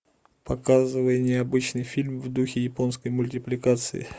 показывай необычный фильм в духе японской мультипликации